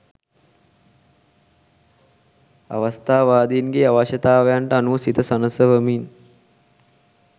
අවස්ථාවාදීන්ගේ අවශ්‍යතාවන්ට අනුව සිත සනසවමින්